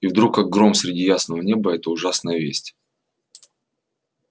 и вдруг как гром среди ясного неба эта ужасная весть